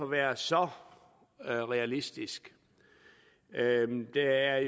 være så realistisk der er